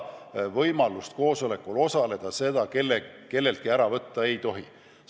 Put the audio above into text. Võimalust koosolekul osaleda kelleltki ära võtta ei tohi.